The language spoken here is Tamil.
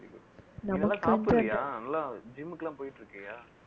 நீ நல்லா சாப்டுவிய நல்லா gym க்கு எல்லாம் போயிட்டு இருக்குயா